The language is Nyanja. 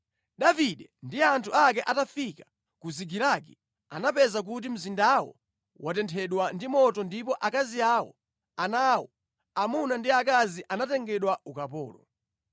Davide ndi anthu ake atafika ku Zikilagi anapeza kuti mzindawo watenthedwa ndi moto ndipo akazi awo, ana awo, amuna ndi akazi atengedwa ukapolo.